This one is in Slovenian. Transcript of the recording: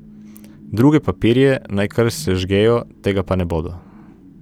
Druge papirje naj kar sežgejo, tega pa ne bodo.